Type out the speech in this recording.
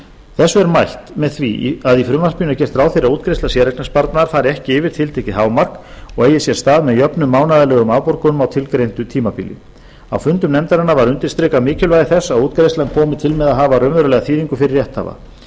þessu er mætt með því að í frumvarpinu er gert ráð fyrir að útgreiðsla séreignarsparnaðar fari ekki yfir tiltekið hámark og eigi sér stað með jöfnum mánaðarlegum afborgunum á tilgreindu tímabili á fundum nefndarinnar var undirstrikað mikilvægi þess að útgreiðslan komi til með að hafa raunverulega þýðingu fyrir rétthafa